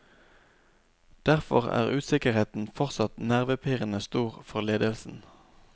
Derfor er usikkerheten fortsatt nervepirrende stor for ledelsen.